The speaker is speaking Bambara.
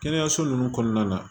Kɛnɛyaso ninnu kɔnɔna na